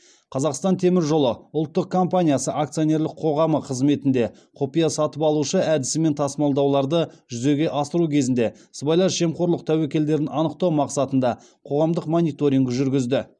қазақстан темір жолы ұлттық компаниясы акционерлік қоғамы қызметінде құпия сатып алушы әдісімен тасымалдауларды жүзеге асыру кезінде сыбайлас жемқорлық тәуекелдерін анықтау мақсатында қоғамдық мониторинг жүргізді